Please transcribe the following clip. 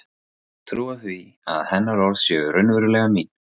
Trúa því að hennar orð séu raunverulega mín.